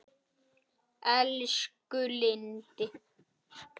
Elsku Lindi.